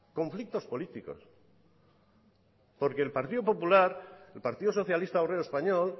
conflictos políticos porque el partido popular el partido socialista obrero español